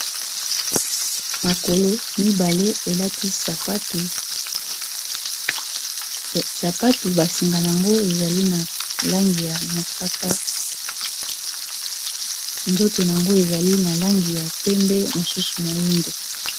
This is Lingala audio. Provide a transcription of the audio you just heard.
makolo mibale elati sapatu basinga ango ezali na langi ya mosaka nzoto ango ezali na langi ya pembe mosusu moindo